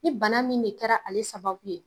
Ni bana min de kɛra ale sababu ye